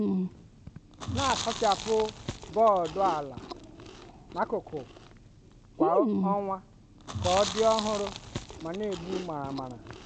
na-asachapụ bọọdụ ala na akụkụ kwa ọnwa ka ọ dị ọhụrụ ma na-egbu maramara.